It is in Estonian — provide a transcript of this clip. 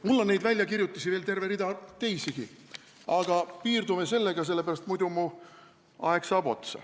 " Mul on neid väljakirjutusi veel terve rida, aga piirdume sellega, sest muidu saab mu aeg otsa.